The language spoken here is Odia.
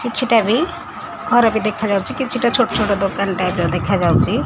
କିଛିଟା ବି ଘର ବି ଦେଖା ଯାଉଚି କିଛଟା ଛୋଟ ଛୋଟ ଦୋକାନ ଟାଇପ୍ ର ଦେଖା ଯାଉଚି ।